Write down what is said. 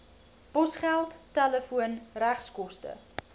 posgeld telefoon regskoste